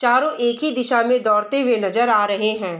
चारों एक ही दिशा में दौड़ते हुए नजर आ रहे हैं।